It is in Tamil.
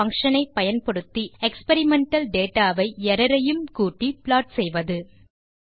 errorbar பங்ஷன் ஐ பயன்படுத்தி எக்ஸ்பெரிமெண்டல் டேட்டா வை எர்ரர் ஐயும் கூட்டி ப்ளாட் செய்வது